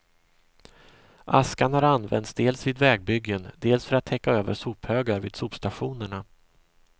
Askan har använts dels vid vägbyggen, dels för att täcka över sophögar vid sopstationerna.